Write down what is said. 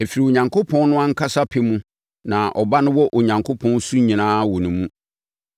Ɛfiri Onyankopɔn no ankasa pɛ mu na Ɔba no wɔ Onyankopɔn su nyinaa wɔ ne mu.